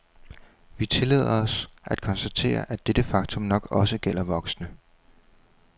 Vi tillader os at konstatere, at dette faktum nok også gælder voksne.